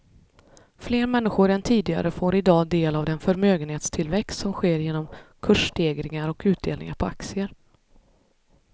Fler människor än tidigare får i dag del av den förmögenhetstillväxt som sker genom kursstegringar och utdelningar på aktier.